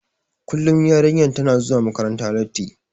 Kullum yarinyar tana zuwa makaranta latti.